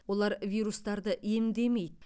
олар вирустарды емдемейді